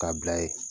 K'a bila ye